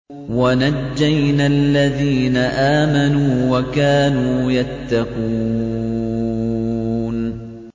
وَنَجَّيْنَا الَّذِينَ آمَنُوا وَكَانُوا يَتَّقُونَ